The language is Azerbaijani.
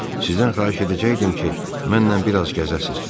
Sizdən xahiş edəcəkdim ki, mənlə biraz gəzəsiz.